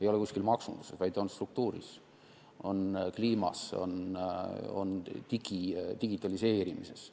Probleem ei ole maksunduses, vaid on struktuuris, kliimas, digitaliseerimises.